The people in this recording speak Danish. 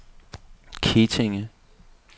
Kettinge